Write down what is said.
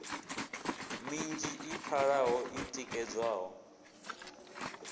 minzhi i pfalaho i tikedzwaho